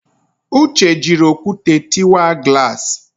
Uche jịrị okwute tịwa glass